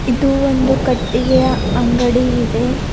ಇದು ಒಂದು ಕಟ್ಟಿಗೆಯ ಅಂಗಡಿ ಇದೆ.